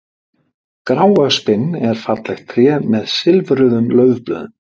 Gráöspin er fallegt tré með silfruðum laufblöðum.